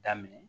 Daminɛ